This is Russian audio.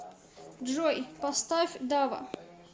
джой поставь дава